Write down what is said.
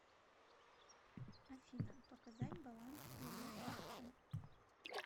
афина показать баланс первой карты